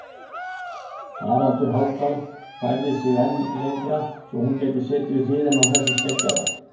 Haraldur Hálfdán færði sig enn lengra svo hún gæti setið við hliðina á þessum skeggjaða.